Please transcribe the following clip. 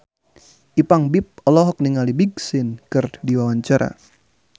Ipank BIP olohok ningali Big Sean keur diwawancara